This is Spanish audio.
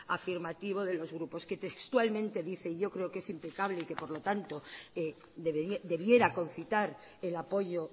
afirmativo de los grupos que textualmente dice y yo creo que es impecable y que por lo tanto debiera concitar el apoyo